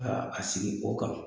Ka a sigi o kan